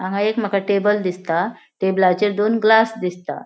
हांगा एक मका टेबल दिसता टेबलाचेर दोन ग्लास दिसता.